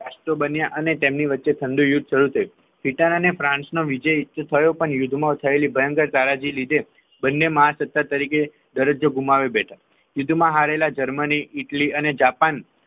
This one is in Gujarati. રાષ્ટ્ર બન્યા અને તેમની વચ્ચે ઠંડુ યુદ્ધ થયું છે ઈટાલી અને ફ્રાંસ વિજય થયો પણ માં યુદ્ધ થયેલી ભયંકર તારાજી ના લીધે બંને મહાસત્તા તરીકે દરજ્જો ગુમાવી બેઠા યુદ્ધ માં હારેલા જર્મની ઈટાલીઅને જાપાન